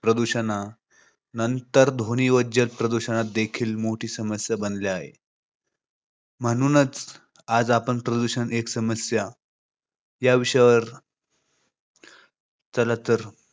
प्रदूषणा नंतर ध्वनी व जल प्रदूषण देखील मोठी समस्या बनल्या आहे. म्हणूनच आज आपण प्रदूषण एक समस्या या विषयावर मराठी. तर चला